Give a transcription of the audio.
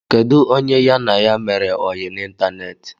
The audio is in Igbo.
Kedụ onye ya na ya mere oyi na ịntanetị?